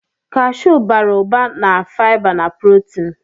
Kashụụ bara ụba na fiba na prọtin.